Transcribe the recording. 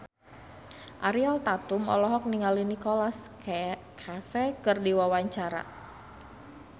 Ariel Tatum olohok ningali Nicholas Cafe keur diwawancara